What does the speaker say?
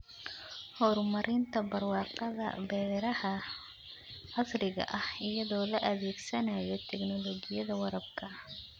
Horumarinta barwaaqada beeraha casriga ah iyadoo la adeegsanayo tignoolajiyada waraabka.